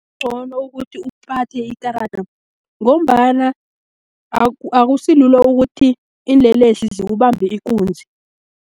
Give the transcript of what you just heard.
Kugcono ukuthi uphathe ikarada, ngombana akusilula ukuth,i iinlelesi zikubambe ikunzi.